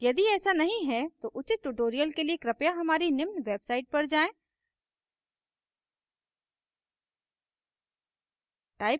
यदि ऐसा नहीं है तो उचित tutorials के लिए कृपया हमारी निम्न website पर जाएँ